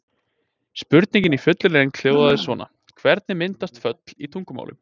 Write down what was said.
Spurningin í fullri lengd hljóðaði svona: Hvernig myndast föll í tungumálum?